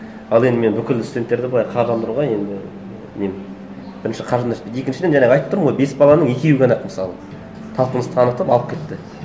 ал енді мен бүкіл студенттерді былай қаржыландыруға енді нем бірінші қаржым да жетпейді екіншіден жаңағы айттым тұрмын ғой бес баланың екеуі ғана ақ мысалы талпыныс танытып алып кетті